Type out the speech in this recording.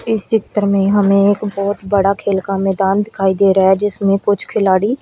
इस चित्र में हमें एक बहोत बड़ा खेल का मैदान दिखाई दे रहा है जिसमें कुछ खिलाड़ी--